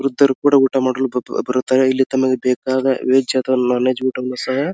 ವೃದ್ದರು ಕೂಡ ಊಟ ಮಾಡಲು ಬರುತ್ತಾರೆ ಇಲ್ಲಿ ತಮಗೆ ಬೇಕಾದ ವೆಜ್ ಅಥವಾ ನೋನ್ ವೆಜ್ ಊಟವನ್ನು ಸಹ --